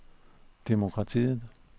demokratiet